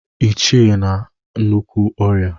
Ichie nọ na nnukwu ọrịa